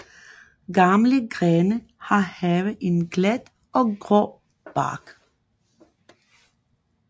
Gamle grene kan have en glat og grå bark